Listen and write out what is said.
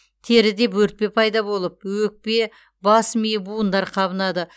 теріде бөртпе пайда болып өкпе бас ми буындар қабынады